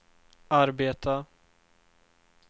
arbeta